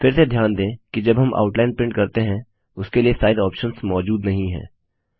फिर से ध्यान दें कि जब हम आउटलाइन प्रिंट करते हैं उसके लिए साइज़ ऑप्शंस मौजूद नहीं हैं